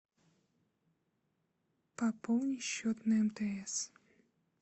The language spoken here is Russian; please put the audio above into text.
пополни счет на мтс